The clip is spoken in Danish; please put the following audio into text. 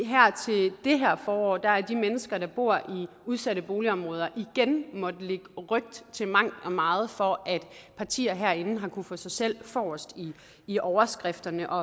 det her forår har de mennesker der bor i udsatte boligområder igen måttet lægge ryg til mangt og meget for at partier herinde har kunnet få sig selv forrest i overskrifterne og